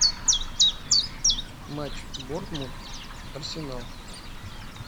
матч борнмут арсенал